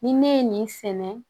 Ni ne ye nin sɛnɛ